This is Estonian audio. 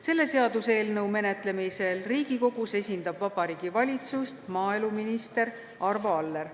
Selle seaduseelnõu menetlemisel Riigikogus esindab Vabariigi Valitsust maaeluminister Arvo Aller.